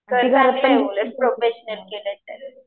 चांगलं आहे उलट प्रोफेशनल केलं तर.